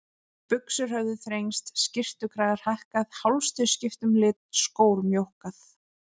Buxur höfðu þrengst, skyrtukragar hækkað, hálstau skipt um lit, skór mjókkað.